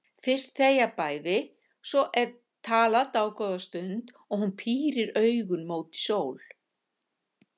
Fyrst þegja bæði, svo er talað dágóða stund og hún pírir augun móti sól.